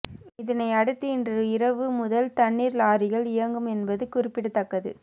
இதனையடுத்து இன்று இரவு முதல் தண்ணீர் லாரிகள் இயங்கும் என்பது குறிப்பிடத்தக்கது